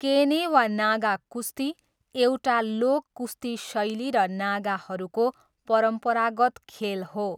केने वा नागा कुस्ती एउटा लोक कुस्ती शैली र नागाहरूको परम्परागत खेल हो।